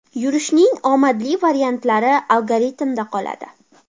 Yurishning omadli variantlari algoritmda qoladi.